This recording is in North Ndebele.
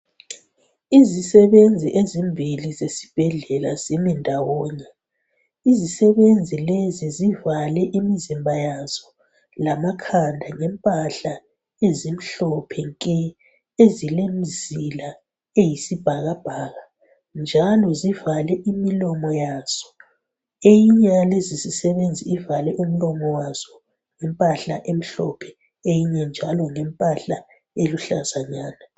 Izisebenzi ezimbili zesibhedlela zimi ndawonye, zivale imizimba yazo lamakhanda ngempahla ezimhlophe nke, ezilemizila eyisibhakabhaka njalo zivale imilomo yazo, omunye uvale ngempahla emhlophe, omunye ngempahla eluhlaza.